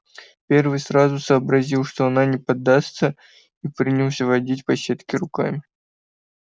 первый сразу сообразил что она не поддастся и принялся водить по сетке руками